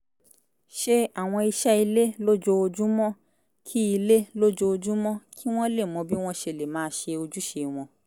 ṣe àwọn iṣẹ́ ilé lójoojúmọ́ kí ilé lójoojúmọ́ kí wọ́n lè mọ bí wọ́n ṣe lè máa ṣe ojúṣe wọn